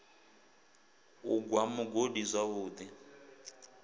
u gwa mugodi zwavhu ḓi